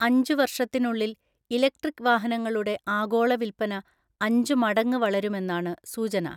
അഞ്ചു വർഷത്തിനുള്ളിൽ ഇലക്ട്രിക് വാഹനങ്ങളുടെ ആഗോള വിൽപ്പന അഞ്ചു മടങ്ങ് വളരുമെന്നാണ് സൂചന.